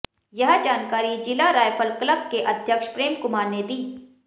यह जानकारी जिला रायफल क्लब के अध्यक्ष प्रेम कुमार ने दी